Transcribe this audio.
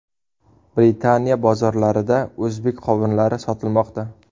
Britaniya bozorlarida o‘zbek qovunlari sotilmoqda.